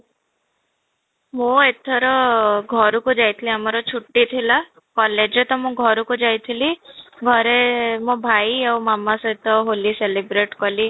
ମୁଁ ଏଥର ଘରକୁ ଯାଇଥିଲି ଆମର ଛୁଟି ଥିଲା, collage ତ ମୁଁ ଘର କୁ ଯାଇଥିଲି, ଘରେ ମୋ ଭାଇ ଆଉ ମାମା ସହିତ ହୋଲି celebrate କଲି